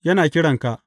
Yana kiranka.